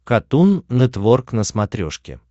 катун нетворк на смотрешке